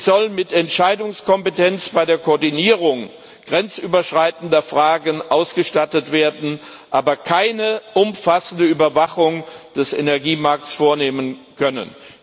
Sie soll mit Entscheidungskompetenz bei der Koordinierung grenzüberschreitender Fragen ausgestattet werden, aber keine umfassende Überwachung des Energiemarktes vornehmen können.